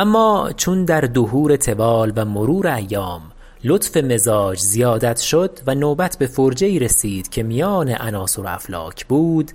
اما چون در دهور طوال و مرور ایام لطف مزاج زیادت شد و نوبت بفرجه ای رسید که میان عناصر و افلاک بود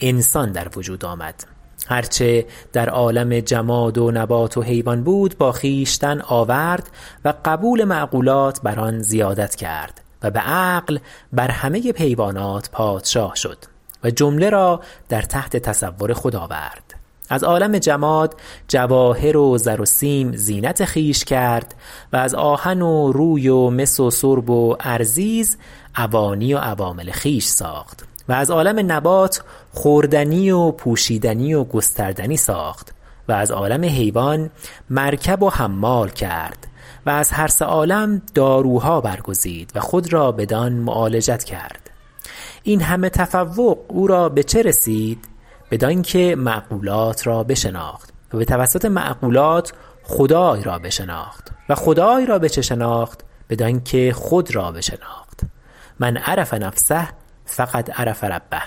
انسان در وجود آمد هرچه در عالم جماد و نبات و حیوان بود با خویشتن آورد و قبول معقولات بر آن زیادت کرد و بعقل بر همه حیوانات پادشاه شد و جمله را در تحت تصرف خود آورد از عالم جماد جواهر و زر و سیم زینت خویش کرد و از آهن و روی و مس و سرب و ارزیز اوانی و عوامل خویش ساخت و از عالم نبات خوردنی و پوشیدنی و گستردنی ساخت و از عالم حیوان مرکب و حمال کرد و از هرسه عالم داروها برگزید و خود را بدان معالجت کرد این همه تفوق او را به چه رسید بدانکه معقولات را بشناخت و بتوسط معقولات خدای را بشناخت و خدای را به چه شناخت بدانکه خود را بشناخت من عرف نفسه فقد عرف ربه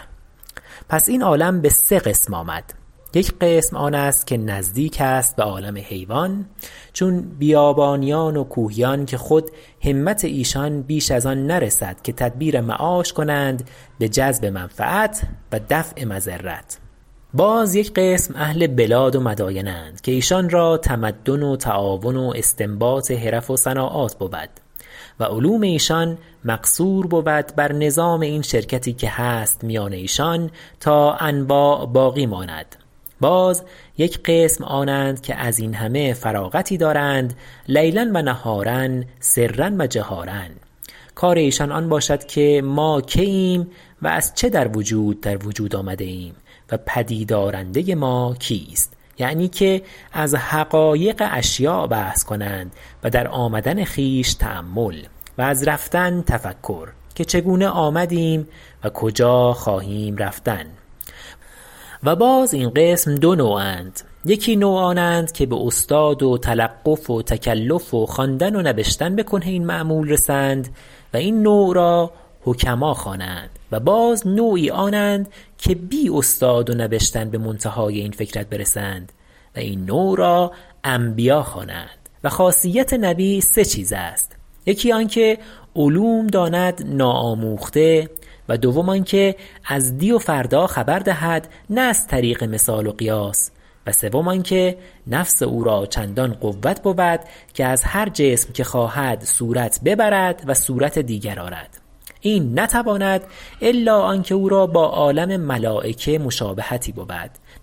پس این عالم به سه قسم آمد یک قسم آن است که نزدیک است به عالم حیوان چون بیابانیان و کوهیان که خود همت ایشان بیش از آن نرسد که تدبیر معاش کنند به جذب منفعت و دفع مضرت باز یک قسم اهل بلاد و مداین اند که ایشان را تمدن و تعاون و استنباط حرف و صناعات بود و علوم ایشان مقصور بود بر نظام این شرکتی که هست میان ایشان تا انواع باقی ماند باز یک قسم آنند که ازین همه فراغتی دارند لیلا و نهارا سرا و جهارا کار ایشان آن باشد که ما که ایم و از چه در وجود آمده ایم و پدید آرنده ما کیست یعنی که از حقایق اشیاء بحث کنند و در آمدن خویش تأمل و از رفتن تفکر که چگونه آمدیم و کجا خواهیم رفتن و باز این قسم دو نوع اند یکی نوع آنند که به استاد و تلقف و تکلف و خواندن و نبشتن به کنه این مأمول رسند و این نوع را حکما خوانند و باز نوعی آنند که بی استاد و نبشتن به منتهای این فکرت برسند و این نوع را انبیا خوانند و خاصیت نبی سه چیز است یکی آنکه علوم داند ناآموخته و دوم آنکه از دی و فردا خبر دهد نه از طریق مثال و قیاس و سوم آنکه نفس او را چندان قوت بود که از هر جسم که خواهد صورت ببرد و صورت دیگر آرد این نتواند الا آنکه او را با عالم ملایکه مشابهتی بود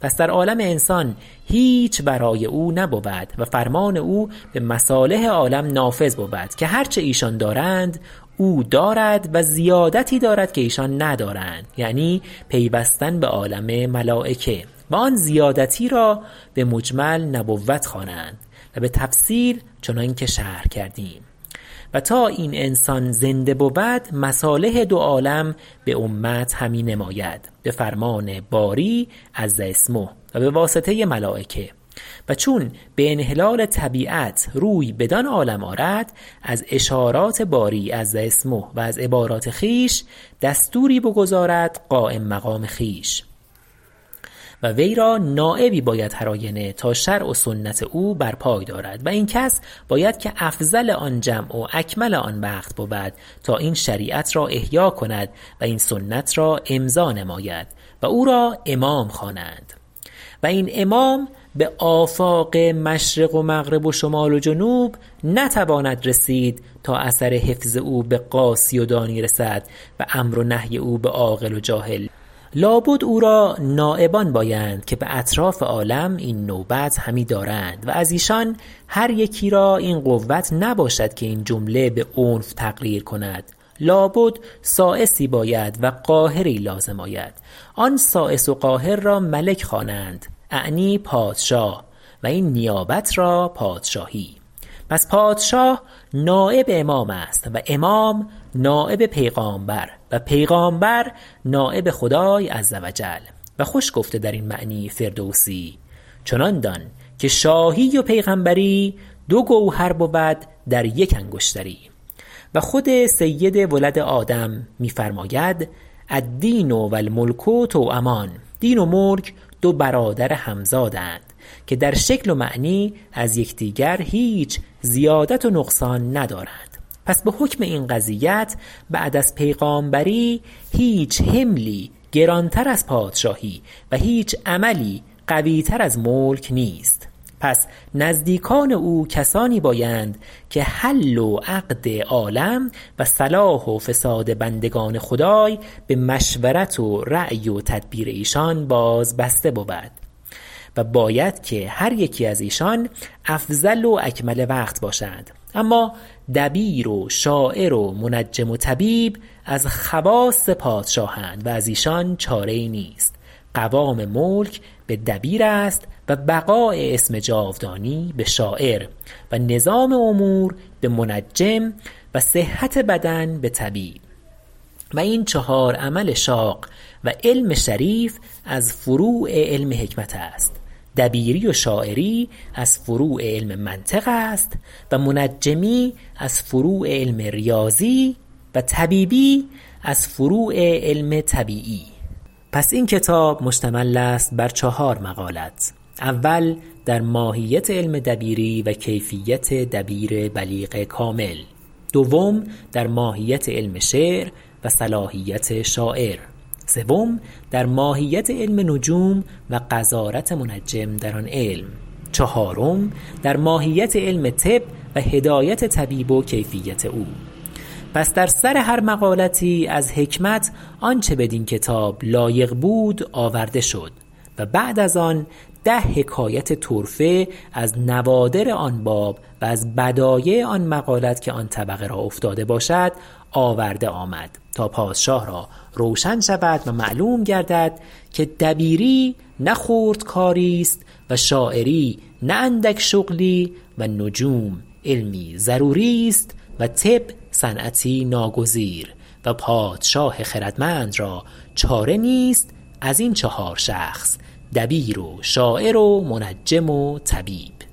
پس در عالم انسان هیچ ورای او نبود و فرمان او به مصالح عالم نافذ بود که هر چه ایشان دارند او دارد و زیادتی دارد که ایشان ندارند یعنی پیوستن به عالم ملایکه و آن زیادتی را به مجمل نبوت خوانند و به تفصیل چنانکه شرح کردیم و تا این انسان زنده بود مصالح دو عالم به امت همی نماید بفرمان باری عز اسمه و به واسطه ملایکه و چون به انحلال طبیعت روی بدان عالم آرد از اشارات باری عز اسمه و از عبارات خویش دستوری بگذارد قایم مقام خویش و ویرا نایبی باید هر آینه تا شرع و سنت او بر پای دارد و این کس باید که افضل آن جمع و اکمل آن وقت بود تا این شریعت را احیا کند و این سنت را امضا نماید و او را امام خوانند و این امام به آفاق مشرق و مغرب و شمال و جنوب نتواند رسید تا اثر حفظ او به قاصی و دانی رسد و امر و نهی او به عاقل و جاهل لابد او را نایبان بایند که به اطراف عالم این نوبت همی دارند و از ایشان هر یکی را این قوت نباشد که این جمله به عنف تقریر کند لابد سایسی باید و قاهری لازم آید آن سایس و قاهر را ملک خوانند اعنی پادشاه و این نیابت را پادشاهی پس پادشاه نایب امام است و امام نایب پیغامبر و پیغامبر نایب خدای عز و جل و خوش گفته در این معنی فردوسی چنان دان که شاهی و پیغمبری دو گوهر بود در یک انگشتری و خود سید ولد آدم می فرماید الدین و الملک توامان دین و ملک دو برادر همزادند که در شکل و معنی از یکدیگر هیچ زیادت و نقصان ندارند پس بحکم این قضیت بعد از پیغامبری هیچ حملی گرانتر از پادشاهی و هیچ عملی قوی تر از ملک نیست پس نزدیکان او کسانی بایند که حل و عقد عالم و صلاح و فساد بندگان خدای به مشورت و رای و تدبیر ایشان باز بسته بود و باید که هر یکی از ایشان افضل و اکمل وقت باشند اما دبیر و شاعر و منجم و طبیب از خواص پادشاهند و از ایشان چاره ای نیست قوام ملک به دبیر است و بقاء اسم جاودانی به شاعر و نظام امور به منجم و صحت بدن به طبیب و این چهار عمل شاق و علم شریف از فروع علم حکمت است دبیری و شاعری از فروع علم منطق است و منجمی از فروع علم ریاضی و طبیبی از فروع علم طبیعی پس این کتاب مشتمل است بر چهار مقالت اول در ماهیت علم دبیری و کیفیت دبیر بلیغ کامل دوم در ماهیت علم شعر و صلاحیت شاعر سوم در ماهیت علم نجوم و غزارت منجم در آن علم چهارم در ماهیت علم طب و هدایت طبیب و کیفیت او پس در سر هر مقالتی از حکمت آنچه بدین کتاب لایق بود آورده شد و بعد از آن ده حکایت طرفه از نوادر آن باب و از بدایع آن مقالت که آن طبقه را افتاده باشد آورده آمد تا پادشاه را روشن شود و معلوم گردد که دبیری نه خرد کاریست و شاعری نه اندک شغلی و نجوم علمی ضروری است و طب صنعتی ناگزیر و پادشاه خردمند را چاره نیست از این چهار شخص دبیر و شاعر و منجم و طبیب